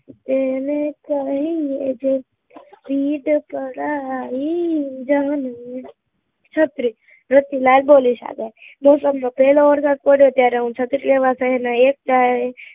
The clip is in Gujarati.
તેને કહીયે રે જે પીર પરાઈ જાણે રે, છત્રી રતિલાલ બોલીશ આગળ વરસાદ નો પેહલો વરસાદ પડે ત્યારે હું છત્રી લેવા શહેર ના એક ટાયરે